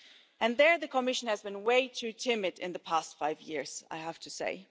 And there the Commission has been way too timid in the past five years, I have to say.